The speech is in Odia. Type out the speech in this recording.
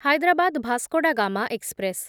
ହାଇଦ୍ରାବାଦ ଭାସ୍କୋଡାଗାମା ଏକ୍ସପ୍ରେସ୍